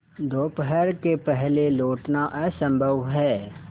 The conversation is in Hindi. दोपहर के पहले लौटना असंभव है